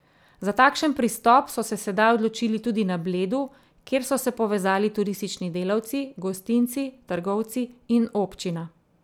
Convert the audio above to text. Za takšen pristop so se sedaj odločili tudi na Bledu, kjer so se povezali turistični delavci, gostinci, trgovci in občina.